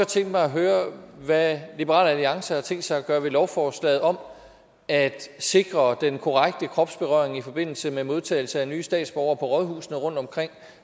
tænke mig at høre hvad liberal alliance har tænkt sig at gøre ved lovforslaget om at sikre den korrekte kropsberøring i forbindelse med modtagelse af nye statsborgere på rådhusene rundtomkring